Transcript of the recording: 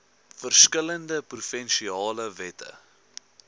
verskillende provinsiale wette